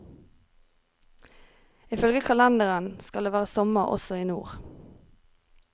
Ifølge kalenderen skal det være sommer også i nord.